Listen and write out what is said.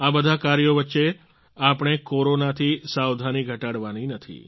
આ બધા કાર્યો વચ્ચે આપણે કોરોના થી સાવધાની ઘટાડવાની નથી